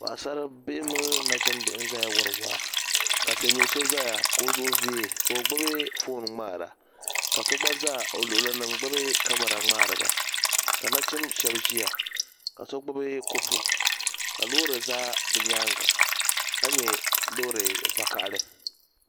Paɣasara bihi mini nachimbihi n zaya wari waa ka silmiin so zaya ka o zuɣu viɛ ka o gbubi fooni ŋmaara ka so gba za o luɣuli ni n gbubi kamara ŋmaari ba ka nachinba shaba ʒiya ka so gbubi kopu ka loori za bi nyaanga ka nya loori vakahili.